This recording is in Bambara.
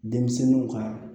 Denmisɛnninw ka